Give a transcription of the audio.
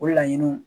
O laɲiniw